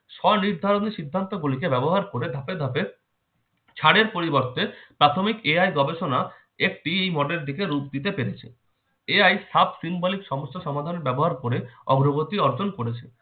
সনিদ্ধারিত সিদ্ধান্ত গুলি কে ব্যবহার করে ধাপে ধাপে স্যারের পরিবর্তে প্রাথমিক AI গবেষণা একটি মদের দিকে রূপ দিতে পেরেছে। AI sub symbolic সমস্যা সমাধানে ব্যবহার করে অগ্রগতি অর্জন করেছে।